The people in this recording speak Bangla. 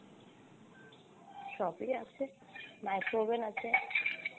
সবই আছে, micro oven আছে।